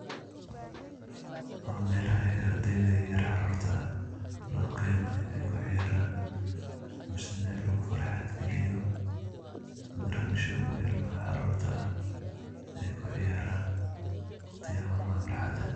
Waa meelaha ardeyda yeryer caruurta ah, loo keeno inaay ku ciyaaraan, misna lugu farxad giliyo. Grandshowga ilmaha caruurta ah ay ku ciyaaran wakhtiyaha maalmaha farxada.